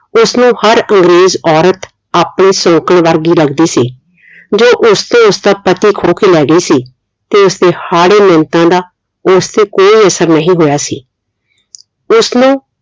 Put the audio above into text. ਉਸਨੂੰ ਹਰ ਅੰਗਰੇਜ਼ ਔਰਤ ਆਪਣੀ ਸੌਕਣ ਵਰਗੀ ਲੱਗਦੀ ਸੀ ਜੋ ਉਸਤੋਂ ਉਸਦਾ ਪਤੀ ਖੋ ਕੇ ਲੈ ਗਈ ਸੀ ਤੇ ਉਸਦੇ ਹਾੜੇ ਮਿਨਤਾਂ ਦਾ ਉਸਤੇ ਕੋਈ ਅਸਰ ਨਹੀਂ ਹੋਇਆ ਸੀ ਉਸਨੂੰ